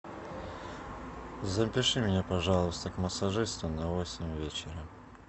запиши меня пожалуйста к массажисту на восемь вечера